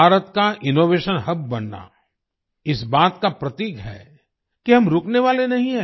भारत का innovation hub बनना इस बात का प्रतीक है कि हम रुकने वाले नहीं हैं